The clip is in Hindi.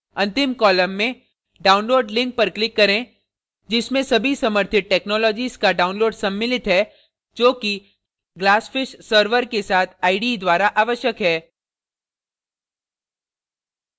अंतिम column में download link पर click करें जिसमें सभी समर्थित technologies का download सम्मिलित है जो कि glassfish server के साथ ide द्वारा आवश्यक है